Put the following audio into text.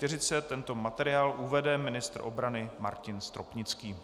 Tento materiál uvede ministr obrany Martin Stropnický.